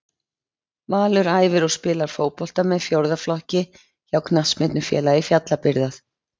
Valur æfir og spilar fótbolta með fjórða flokki hjá Knattspyrnufélagi Fjallabyggðar.